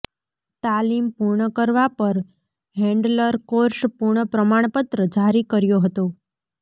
તાલીમ પૂર્ણ કરવા પર હેન્ડલર કોર્સ પૂર્ણ પ્રમાણપત્ર જારી કર્યો હતો